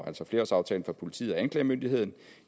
altså flerårsaftalen for politiet og anklagemyndigheden